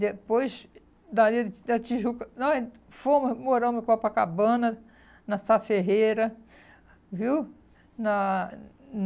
Depois, dali da Tijuca, nós fomos moramos em Copacabana, na Sá Ferreira, viu? Na